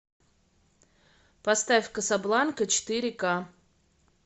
поставь касабланка четыре ка